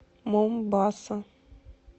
момбаса